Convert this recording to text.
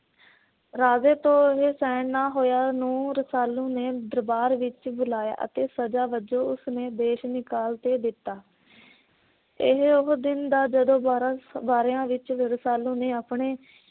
ਰਾਜੇ ਤੋਂ ਇਹ ਸਹਿਣ ਨਾ ਹੋਇਆ, ਨੂੰ ਰਸਾਲੂ ਨੇ ਦਰਬਾਰ ਵਿੱਚ ਬੁਲਾਇਆ ਅਤੇ ਸਜ਼ਾ ਵਜੋਂ ਉਸਨੇ ਦੇਸ਼ ਨਿਕਲ ਤੇ ਦਿੱਤਾ। ਇਹ ਉਹ ਦਿਨ ਦਾ ਜਦੋਂ ਵਾਰਾ ਵਰ੍ਹਿਆਂ ਵਿੱਚ ਰਸਾਲੂ ਨੇ